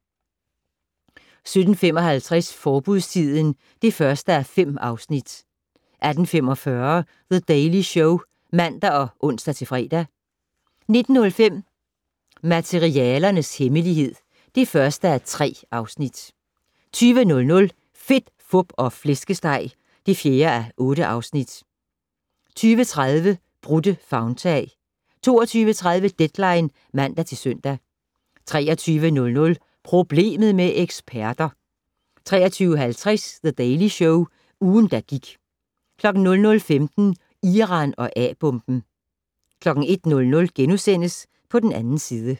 17:55: Forbudstiden (1:5) 18:45: The Daily Show (man og ons-fre) 19:05: Materialernes hemmelighed (1:3) 20:00: Fedt, Fup og Flæskesteg (4:8) 20:30: Brudte favntag 22:30: Deadline (man-søn) 23:00: Problemet med eksperter! 23:50: The Daily Show - ugen, der gik 00:15: Iran og A-bomben 01:00: På den 2. side *